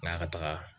N'a ka taga